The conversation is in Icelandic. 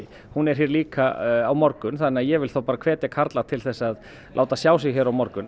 hún er líka á morgun þannig að ég vil hvetja karla til að láta sjá sig hér á morgun